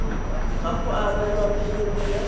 ga go abelwa phemiti ya